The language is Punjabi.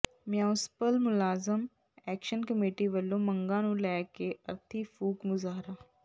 ਮਿਊਾਸਪਲ ਮੁਲਾਜ਼ਮ ਐਕਸ਼ਨ ਕਮੇਟੀ ਵਲੋਂ ਮੰਗਾਂ ਨੂੰ ਲੈ ਕੇ ਅਰਥੀ ਫੂਕ ਮੁਜ਼ਾਹਰਾ